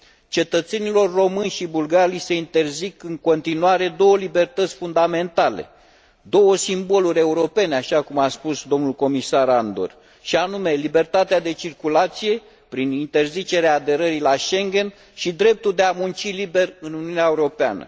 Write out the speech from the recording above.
Cetățenilor români și bulgari li se interzic în continuare două libertăți fundamentale, două simboluri europene, așa cum a spus domnul Comisar Andor și anume libertatea de circulație prin interzicerea aderării la Schengen și dreptul de a munci liber în Uniunea Europeană.